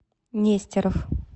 нестеров